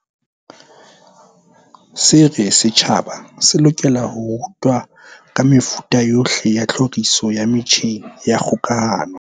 Se re setjhaba se lokela ho rutwa ka mefuta yohle ya tlhoriso ya metjheng ya kgokahano.